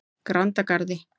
Grandagarði